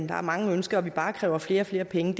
der er mange ønsker og vi bare kræver flere og flere penge